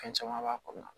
Fɛn caman b'a kɔnɔna na